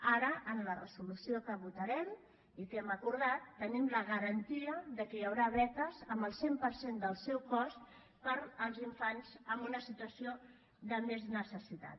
ara amb la resolució que votarem i que hem acordat tenim la garantia que hi haurà beques amb el cent per cent del seu cost per als infants en una situació de més necessitat